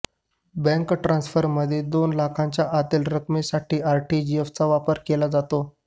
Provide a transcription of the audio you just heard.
bank ट्रान्सफरमध्ये दोन लाखांच्या आतील रकमेसाठी आरटीजीएसचा वापर केला जातो